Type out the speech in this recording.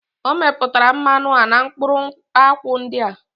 O meputara mmanu a na mkpuru akwu ndi a?